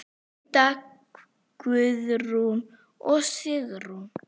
Hulda, Guðrún og Sigrún.